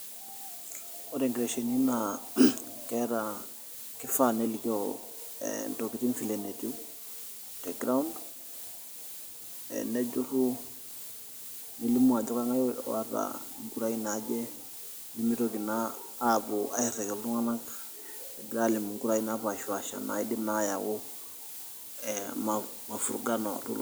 Ore nkiteshonini naa keeta, kifaa nelikio ntokitin vile netiu te ground ee nejurru nelimu ajo kang'ae oota nkurai naaje nemitoki naa aapuo airriki iltung'anak egira aalimu nkurai naapaashipasha naidim naa aayau ee mafurugano.